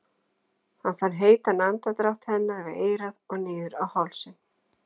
Hann fann heitan andardrátt hennar við eyrað og niður á hálsinn.